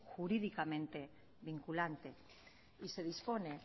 jurídicamente vinculante y se dispone